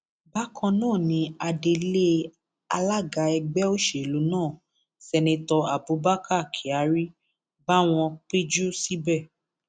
bákan náà ni adelé alága ẹgbẹ òsèlú náà seneto abubakar kyari bá wọn péjú síbẹ